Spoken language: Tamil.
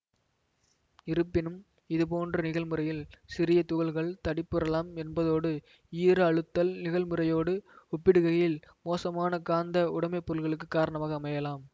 இருப்பினும் இதுபோன்ற நிகழ்முறையில் சிறிய துகள்கள் தடிப்புறலாம் என்பதோடு ஈர அழுத்தல் நிகழ்முறையோடு ஒப்பிடுகையில் மோசமான காந்த உடைமைப்பொருளுக்கு காரணமாக அமையலாம்